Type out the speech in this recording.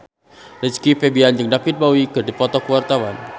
Rizky Febian jeung David Bowie keur dipoto ku wartawan